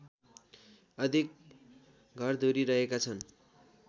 अधिक घरधुरी रहेका छन्